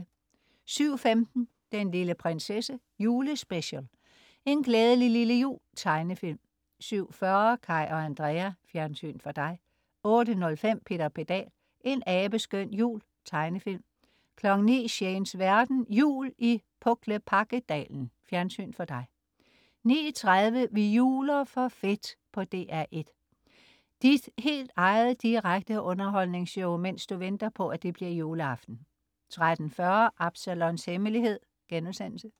07.15 Den lille prinsesse, Julespecial. En glædelig lille jul. Tegnefilm 07.40 Kaj og Andrea. Fjernsyn for dig 08.05 Peter Pedal: En abeskøn jul. Tegnefilm 09.00 Shanes verden. Jul i Puklepakkedalen. Fjernsyn for dig 09.30 Vi juler for fedt på DR1. Dit helt eget direkte underholdningsshow, mens du venter på, at det bliver juleaften! 13.40 Absalons Hemmelighed*